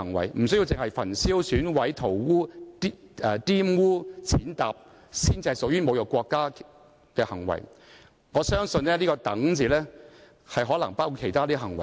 換言之，不一定是"焚燒、毀損、塗劃、玷污、踐踏"才屬於侮辱國旗的行為，我相信條文中的"等"字已包括其他行為。